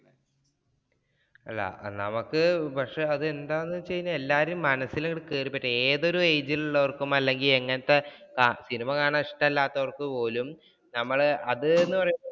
അല്ല നമുക്ക് പക്ഷേ അതെന്താന്നു വച്ച് കഴിഞ്ഞാല്‍ എല്ലാരുടേം മനസ്സില്‍ അങ്ങോട്ട്‌ കയറിപ്പറ്റുക ഏതൊരു age ഇലുള്ളവര്‍ക്കും അല്ലെങ്കില്‍ എങ്ങനത്തെ സിനിമ കാണാന്‍ ഇഷ്ടമല്ലാത്തവര്‍ക്കു പോലും ഞമ്മള് അതേ എന്ന് പറയുമ്പ